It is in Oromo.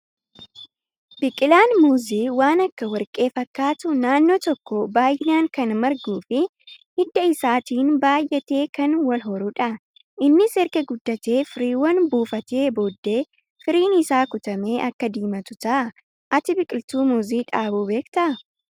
Biqilaan muuzii waan akka warqee fakkaatu naannoo tokko baay'inaan kan marguu fi hidda isaatiin baay'atee kan wal horudha. Innis erga guddatee firiiwwan buufatee booddee firiin isaa kutamee akka diimatu ta'a. Ati biqiltuu muuzii dhaabuu beektaa?